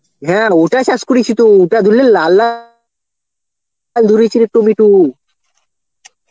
হ্যাঁ আর ওটা চাষ করেছি তো ওটার জন্যই লা লা ধরেছিল টমেটো.